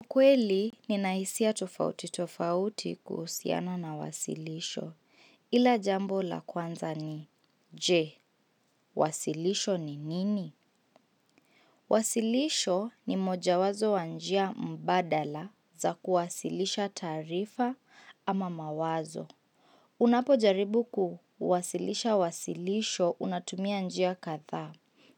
Mkweli, ninaisia tofauti tofauti kusiana na wasilisho. Ila jambo la kwanza ni, je, wasilisho ni nini? Wasilisho ni moja wazo wanjia mbadala za kuwasilisha tarifa ama mawazo. Unapo jaribu kuwasilisha wasilisho unatumia njia katha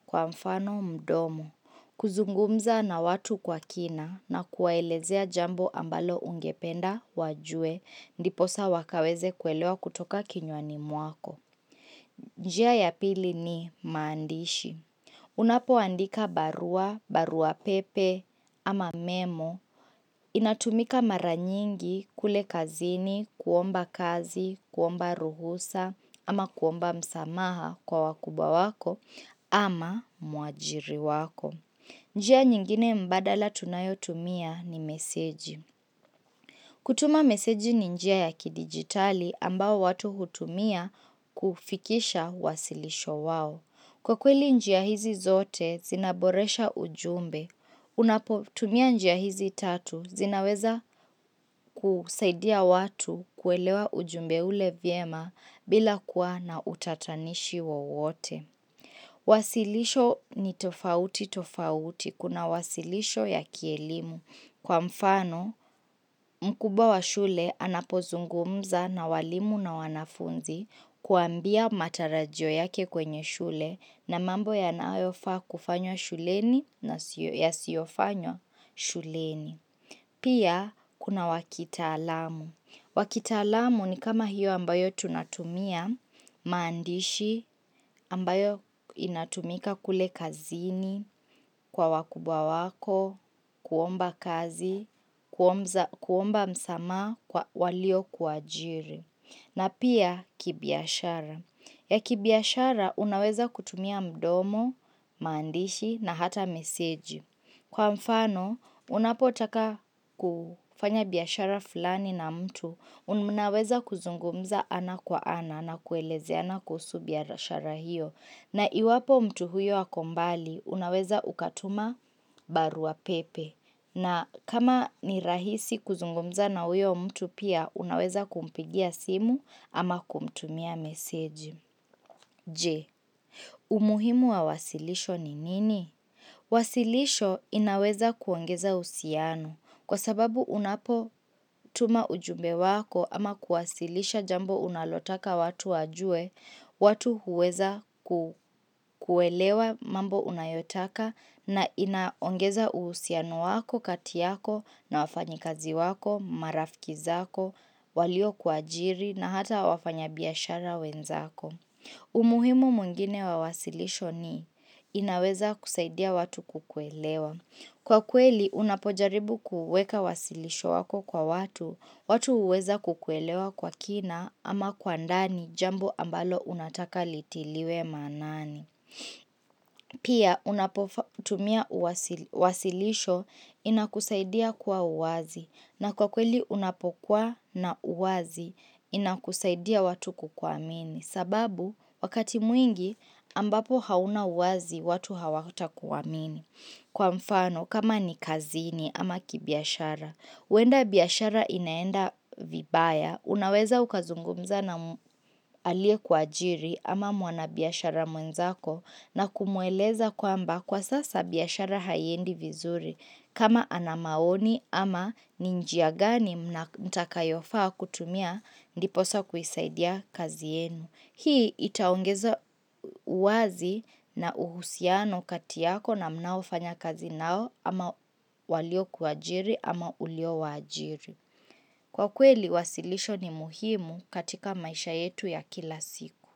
kwa mfano mdomo. Kuzungumza na watu kwa kina na kuwaelezea jambo ambalo ungependa wajue ndiposa wakaweze kuelewa kutoka kinyoani mwako njia ya pili ni maandishi Unapo andika barua, barua pepe ama memo inatumika maranyingi kule kazini, kuomba kazi, kuomba ruhusa ama kuomba msamaha kwa wakubwa wako ama mwajiri wako njia nyingine mbadala tunayotumia ni meseji. Kutuma meseji ni njia ya kidigitali ambao watu hutumia kufikisha wasilisho wao. Kwa kweli njia hizi zote zinaboresha ujumbe. Unapotumia njia hizi tatu zinaweza kusaidia watu kuelewa ujumbe ule viema bila kuwa na utatanishi wa uote. Wasilisho ni tofauti tofauti. Kuna wasilisho ya kielimu. Kwa mfano mkubwa wa shule anapozungumza na walimu na wanafunzi kuambia matarajyo yake kwenye shule na mambo ya naayofa kufanyo shuleni na siyo fanyo shuleni. Pia, kuna wakitalamu. Wakitalamu ni kama hiyo ambayo tunatumia, maandishi, ambayo inatumika kule kazini, kwa wakubwa wako, kuomba kazi, kuomba msama kwa walio kwa jiri. Na pia kibiashara. Ya kibiashara unaweza kutumia mdomo, maandishi na hata meseji. Kwa mfano, unapotaka kufanya biashara fulani na mtu, unumunaweza kuzungumza ana kwa ana na kueleze ana kusu biashara hiyo. Na iwapo mtu huyo akombali, unaweza ukatuma baru wa pepe. Na kama ni rahisi kuzungomza na huyo mtu pia, unaweza kumpigia simu ama kumtumia meseji. J. Umuhimu wa wasilisho ni nini? Wasilisho inaweza kuongeza uhusiano. Kwa sababu unapo tuma ujumbe wako ama kuwasilisha jambo unalotaka watu wajue, watu huweza kukuelewa mambo unayotaka na inaongeza uhusiano wako katiyako na wafanyikazi wako, marafkizako, walio kwa ajiri na hata wafanyabiashara wenzako. Umuhimu mwngine wawasilisho ni inaweza kusaidia watu kukuelewa. Kwa kweli unapojaribu kuweka wasilisho wako kwa watu, watu huweza kukuelewa kwa kina ama kwa ndani jambo ambalo unataka litiliwe manani. Pia unapotumia wasilisho inakusaidia kwa uwazi na kwa kweli unapokuwa na uwazi inakusaidia watu kukwamini. Sababu wakati mwingi ambapo hauna uwazi watu hawakuta kukwamini. Kwa mfano, kama ni kazini ama kibiashara, uenda biashara inaenda vibaya, unaweza ukazungumza na alie kwa ajiri ama mwana biashara mwenzako na kumueleza kwamba kwa sasa biashara haiendi vizuri. Kama ana maoni ama ni njia gani mtakayofaa kutumia ndiposa kuisaidia kazienu. Hii itaongeza uwazi na uhusiano katiyako na mnaofanya kazi nao ama walio kuajiri ama ulio wajiri. Kwa kweli wasilisho ni muhimu katika maisha yetu ya kila siku.